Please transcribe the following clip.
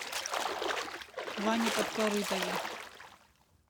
ване подкорытове